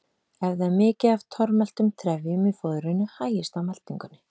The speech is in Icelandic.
Ef það er mikið af tormeltum trefjum í fóðrinu hægist á meltingunni.